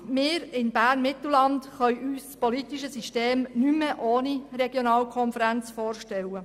Wir in der Regionalkonferenz Bern-Mittelland können uns unser politisches System nicht mehr ohne Regionalkonferenz vorstellen.